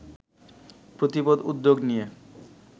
প্রতিপদ উদ্যোগ নিয়ে